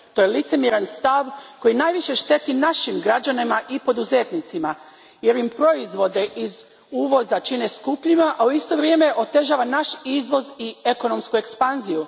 To je licemjeran stav koji najviše šteti našim građanima i poduzetnicima jer im proizvode iz uvoza čini skupljima, a u isto vrijeme otežava naš izvoz i ekonomsku ekspanziju.